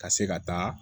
Ka se ka taa